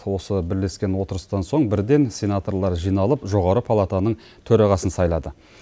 осы бірлескен отырыстан соң бірден сенаторлар жиналып жоғары палатаның төрағасын сайлады